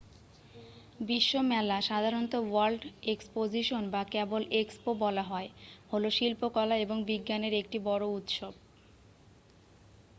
বিশ্ব মেলা সাধারণত ওয়ার্ল্ড এক্সপোজিশন বা কেবল এক্সপো বলা হয় হলো শিল্পকলা এবং বিজ্ঞানের একটি বড় উৎসব।